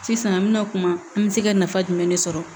Sisan an mɛna kuma an bɛ se ka nafa jumɛn de sɔrɔ